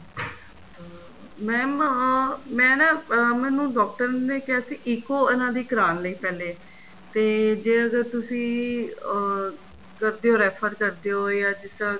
ਅਹ mam ਅਹ ਮੈਂ ਨਾ ਅਹ ਉਹਨਾ ਨੂੰ ਡਾਕਟਰ ਨੇ ਕਿਹਾ ਸੀ ECO ਉਹਨਾ ਦੀ ਕਰਾਣ ਲਈ ਪਹਿਲੇ ਤੇ ਜੇ ਅਗਰ ਤੁਸੀਂ ਅਹ ਕਰਦੇ ਓ refer ਕਰਦੇ ਓ ਜਾਂ ਜਿੱਦਾਂ